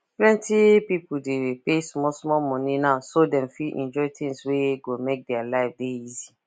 plenty people dey pay small small money now so dem fit enjoy things wey go make their life dey easy